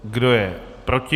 Kdo je proti?